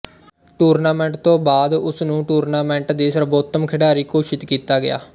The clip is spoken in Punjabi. ਟੂਰਨਾਮੈਂਟ ਤੋਂ ਬਾਅਦ ਉਸ ਨੂੰ ਟੂਰਨਾਮੈਂਟ ਦੀ ਸਰਬੋਤਮ ਖਿਡਾਰੀ ਘੋਸ਼ਿਤ ਕੀਤਾ ਗਿਆ